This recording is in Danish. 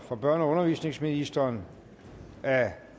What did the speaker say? børne og undervisningsministeren